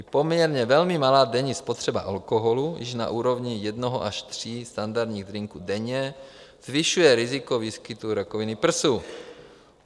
I poměrně velmi malá denní spotřeba alkoholu již na úrovni jednoho až tří standardních drinků denně zvyšuje riziko výskytu rakoviny prsu.